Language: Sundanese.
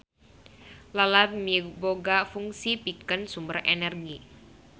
Lalab miboga fungsi pikeun sumber energi.